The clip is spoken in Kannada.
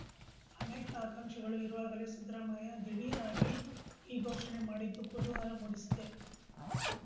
ಅನೇಕ ಆಕಾಂಕ್ಷಿಗಳು ಇರುವಾಗಲೇ ಸಿದ್ದರಾಮಯ್ಯ ದಿಢೀರ್‌ ಆಗಿ ಈ ಘೋಷಣೆ ಮಾಡಿದ್ದು ಕುತೂಹಲ ಮೂಡಿಸಿದೆ